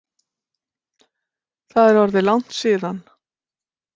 Það er orðið langt síðan.